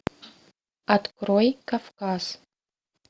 открой кавказ